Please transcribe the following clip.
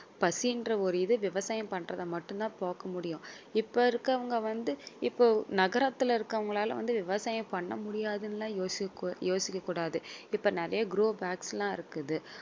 பசி என்ற ஒரு இது விவசாயம் பண்றத மட்டும் தான் போக்க முடியும். இப்ப இருக்கவங்க வந்து இப்போ நகரத்துல இருக்கவங்களால வந்து விவசாயம் பண்ண முடியாதுன்னு எல்லாம் யோசி~ யோசிக்க கூடாது இப்ப நிறைய grow bags எல்லாம் இருக்குது.